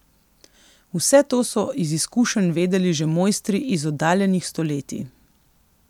Vse to so iz izkušenj vedeli že mojstri iz oddaljenih stoletij.